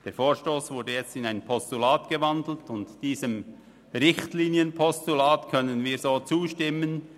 Der Vorstoss ist jetzt in ein Postulat umgewandelt worden, und diesem Richtlinienpostulat können wir so zustimmen.